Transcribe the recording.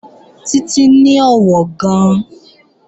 Títí ní ọ̀wọ̀ gan-an